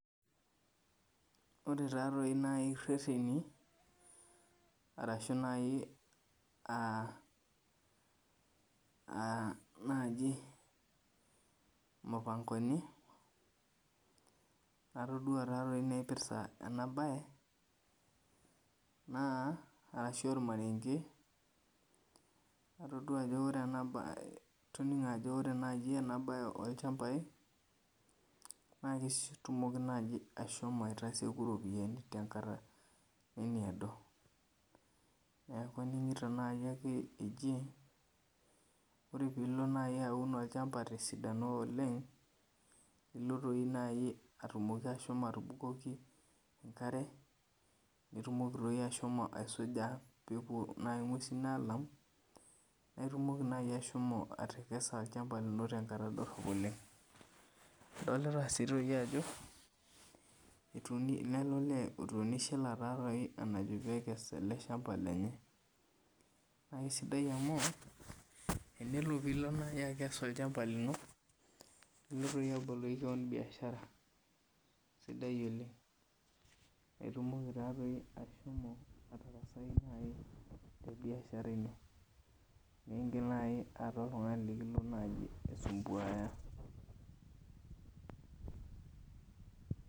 Ore taaatoi naa ireteni ashuu naaji aa naaji mipangoni natodua naipirta ena baye naa atodua ajo ore ena baye olchambai naa ketumoki naaji aashomo ataseku iropiyiani tenkata nemeedo neekunore naaji pilo paun tesidano oleng naa ilo aikes tenkata nemeedo naaji ashomo atubukoki enkare nitumoki doi ashomo aisuja peepuo ing'ues aalau atekesa tenkata dorop oleng dilita sii ajo lele olee otuunishoe enataa peekes ele shamba lenye ore piilo akes ele shamba lino nilo aboloki keon biashara sidai oleng itumoki taaatoi ashomo atarassai tebiasha iro meeta oltung'ani likintoki alo aisumbuayaa